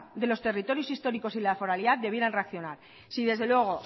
de los territorios históricos y la foralidad debieran reaccionar si desde luego